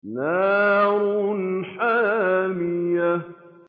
نَارٌ حَامِيَةٌ